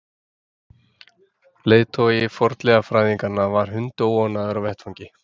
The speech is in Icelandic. Leiðtogi fornleifafræðinganna var hundóánægður á vettvangi.